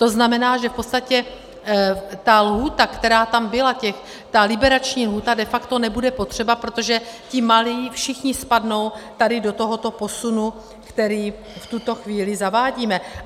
To znamená, že v podstatě ta lhůta, která tam byla, ta liberační lhůta, de facto nebude potřeba, protože ti malí všichni spadnou tady do tohoto posunu, který v tuto chvíli zavádíme.